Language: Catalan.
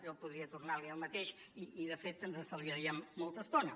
jo podria tornar a dir el mateix i de fet ens estalviaríem molta estona